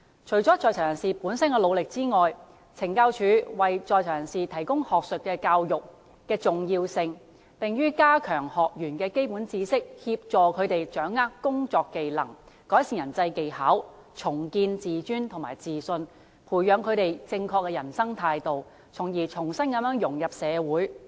除了在囚人士本身的努力之外，懲教署為在囚人士提供學術教育的重要性，在於加強學員的基本知識，協助他們掌握工作技能，改善人際技巧，重建自尊及自信，培養正確的人生態度，從而重新融入社會。